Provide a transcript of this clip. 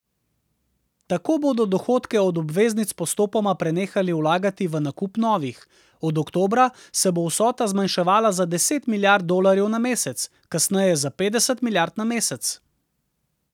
Tako bodo dohodke od obveznic postopoma prenehali vlagati v nakup novih, od oktobra se bo vsota zmanjševala za deset milijard dolarjev na mesec, kasneje za petdeset milijard na mesec.